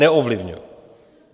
Neovlivňuji.